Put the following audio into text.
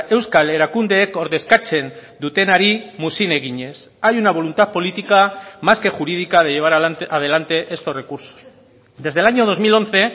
euskal erakundeek ordezkatzen dutenari muzin eginez hay una voluntad política más que jurídica de llevar adelante estos recursos desde el año dos mil once